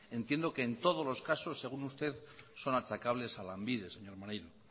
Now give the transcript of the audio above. entiendo que en todos los casos según usted son achacables a lanbide señor maneiro